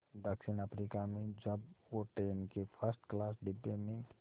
दक्षिण अफ्रीका में जब वो ट्रेन के फर्स्ट क्लास डिब्बे में